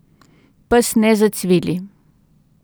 Pes ne zacvili.